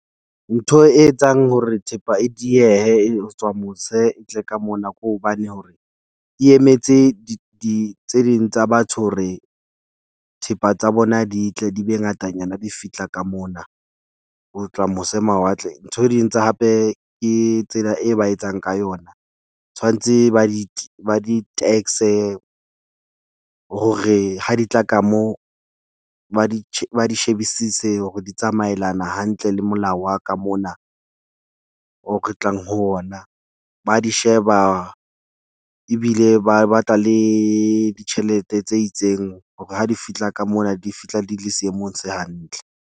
Ntho e etsang hore thepa e diehe e tswa mose e tle ka mona ke hobane hore e emetse di di tse ding tsa batho hore thepa tsa bona di tle di be ngatanyana di fihla ka mona. Ho tla mose mawatle. Ntho ding tse hape ke tsela e ba etsang ka yona tshwanetse ba di ba di tax-e, hore ha di tla ka moo ba di ba di shebisise hore di tsamaelana hantle le molao wa ka mona o re tlang ho ona. Ba di sheba ebile ba batla le ditjhelete tse itseng hore ha di fihla ka mona di fihla di le seemong se hantle.